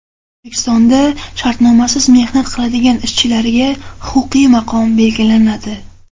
O‘zbekistonda shartnomasiz mehnat qiladigan ishchilarga huquqiy maqom belgilanadi.